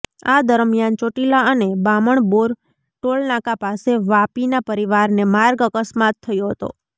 આ દરમિયાન ચોટીલા અને બામણબોર ટોલનાંકા પાસે વાપીના પરિવારને માર્ગ અકસ્માત થયો હતો